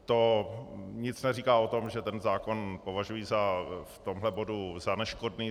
To nic neříká o tom, že ten zákon považuji v tomhle bodu za neškodný.